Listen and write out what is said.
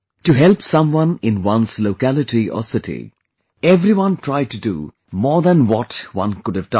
To help someone in one's locality or city... everyone tried to do more than what one could have done